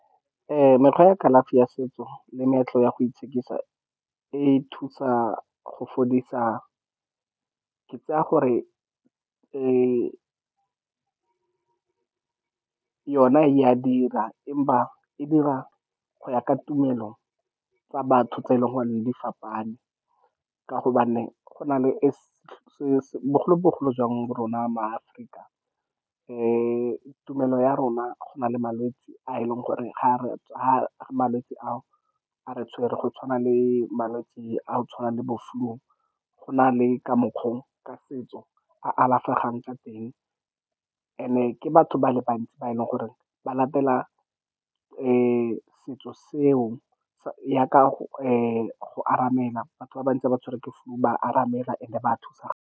Mekgwa ya kalafi ya setso le meetlo ya go itshekisa e thusa go fodisa. Ke tsaya gore yona e a dira, empa e dira go ya ka tumelo tsa batho tse e leng gore di fapane, ka gobane go na le bogolo-bogolo jang mo rona maAforika. Tumelo ya rona, go na le malwetse a e leng gore ga malwetse a re tshwere, go tshwana le malwetse a go tshwana le bo-flu. Go na le ka mokgwa o ka setso a alafegang ka teng, and-e ke batho ba le bantsi ba e leng gore ba latela setso seo yaaka go aramela batho ba bantsi ha ba tshwerwe ke flu, ba aramela and-e ba thusana.